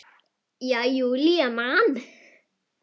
Já, Júlía man.